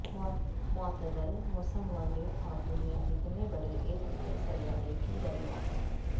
معتدل موسم والے اور دنیا جتنے بڑے ایک نئے سیارے کی دریافت